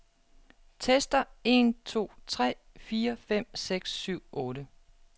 Tester en to tre fire fem seks syv otte.